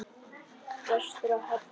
Vestur á Hala í gær.